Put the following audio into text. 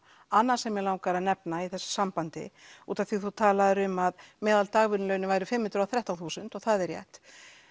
annað sem mig langar að nefna í þessu sambandi út af því að þú talaðir um að meðal dagvinnulaunin væru fimm hundruð og þrettán þúsund og það er rétt